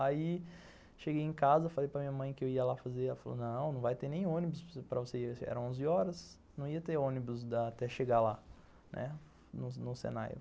Aí, cheguei em casa, falei para minha mãe que eu ia lá fazer, ela falou, não, não vai ter nem ônibus para você ir, eram onze horas, não ia ter ônibus até chegar lá, né, no Senai